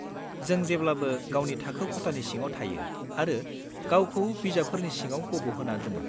जों जेब्लाबो गावनि थाखो खथानि सिङाव थायो आरो गावखौ बिजाबफोरनि सिङाव गब'होना दोनो।